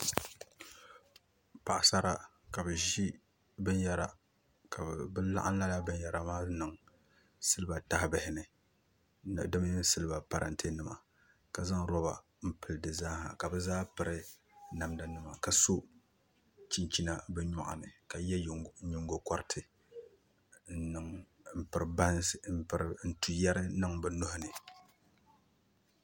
Paɣasara ka bi ʒi binyɛra ka bi laɣam lala binyɛra maa niŋ siliba tahabihi ni di mini siliba parantɛ nima ka zaŋ roba n pili di zaaha ka bi zaa piri namda nima ka so chinchina bi nyoɣani ka yɛ nyingokoriti ka pri bansi n tu yɛri niŋ bi nuhuni